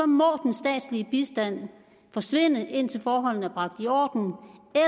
må den statslige bistand forsvinde indtil forholdene er i orden